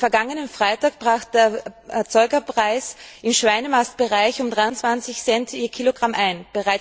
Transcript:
Am vergangenen Freitag brach der Erzeugerpreis im Schweinemastbereich um 23 Cent je Kilogramm ein.